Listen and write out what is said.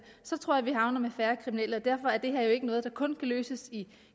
så tror jeg vi havner med færre kriminelle og derfor er det her jo ikke noget der kun kan løses i